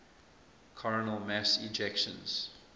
coronal mass ejections